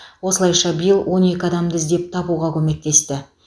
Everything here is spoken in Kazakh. осылайша биыл он екі адамды іздеп табуға көмектесті